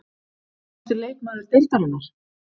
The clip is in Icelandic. Grófasti leikmaður deildarinnar?????